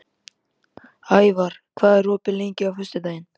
Ævar, hvað er opið lengi á föstudaginn?